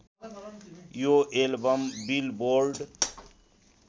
यो album billboard